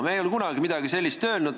Me ei ole kunagi midagi sellist öelnud.